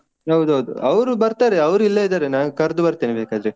ಹೌದೌದು ಅವ್ರು ಬರ್ತಾರೆ ಅವ್ರು ಇಲ್ಲೇ ಇದ್ದಾರೆ, ನಾನು ಕರ್ದು ಬರ್ತೇನೆ ಬೇಕಾದ್ರೆ.